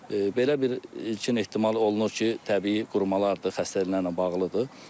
Belə bir ilkin ehtimal olunur ki, təbii qurumalardır, xəstəliklərlə bağlıdır.